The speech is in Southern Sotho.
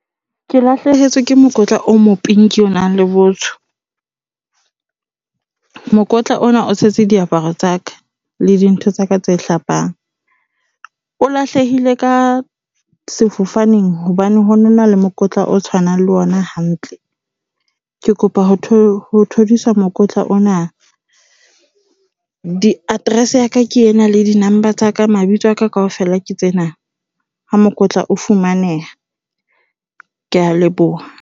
Ke lahlehetswe ke mokotla o mo pinki o nang le botsho. Mokotla ona o tshetse diaparo tsa ka, le dintho tsaka tse hlapang. O lahlehile ka sefofaneng hobane ho no na le mokotla o tshwanang le ona hantle. Ke kopa ho ho thodiswa mokotla ona. Address ya ka, ke ena le di-number tsa ka. Mabitso a ka kaofela ke tsena ha mokotla o fumaneha. Kea leboha